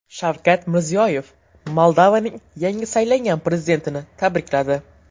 Shavkat Mirziyoyev Moldovaning yangi saylangan prezidentini tabrikladi.